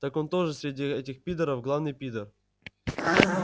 так он тоже среди этих пидоров главный пидор